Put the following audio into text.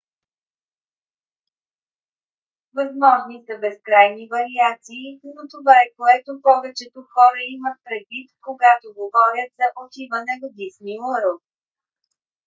възможни са безкрайни вариации но това е което повечето хора имат предвид когато говорят за отиване в дисни уърлд